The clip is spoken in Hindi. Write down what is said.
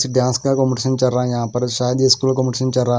डांस का कंपटीशन चल रहा है यहां पर शायद ये स्कूल का कंपटीशन चल रहा--